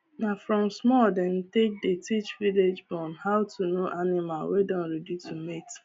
na from small dem take dey teach viage born how to know animal wey don ready to mate